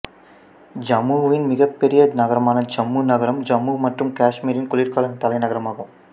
ஜம்முவின் மிகப்பெரிய நகரமான ஜம்மு நகரம் ஜம்மு மற்றும் காஷ்மீரின் குளிர்கால தலைநகரமாகும்